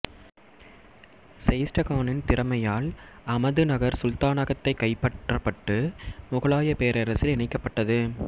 செயிஸ்ட கானின் திறமையால் அமதுநகர் சுல்தானகத்தை கைப்பற்றப்பட்டு முகலாயப் பேரரசில் இணைக்கப்பட்டது